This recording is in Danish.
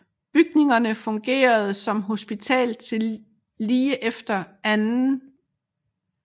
Bygningerne fungerede som hospital til lige efter 2